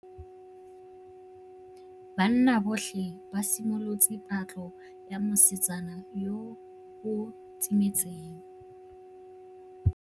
Banna botlhê ba simolotse patlô ya mosetsana yo o timetseng.